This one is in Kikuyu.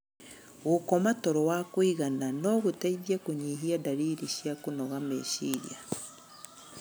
Gũkoma toro wa kũigana no gũteithie kũnyihia ndariri cia kũnoga meciria.